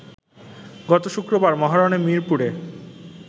গত শুক্রবার মহারণে মিরপুরে